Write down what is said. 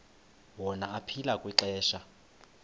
wona aphila kwixesha